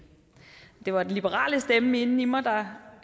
det var den liberale stemme inde i mig der